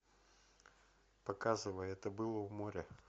показывай это было у моря